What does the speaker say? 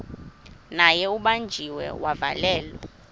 naye ubanjiwe wavalelwa